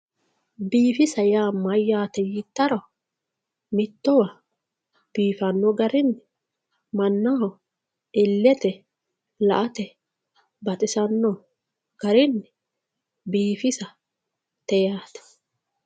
biifisa yaa mayyaate yiittaro mittowa biifanno garinni mannaho illete la"ate baxisanno garinni biifisate yaate.